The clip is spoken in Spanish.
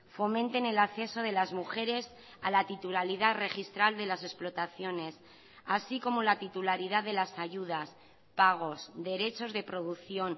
fomenten el acceso de las mujeres a la titularidad registral de las explotaciones así como la titularidad de las ayudas pagos derechos de producción